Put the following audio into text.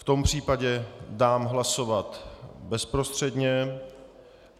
V tom případě dám hlasovat bezprostředně.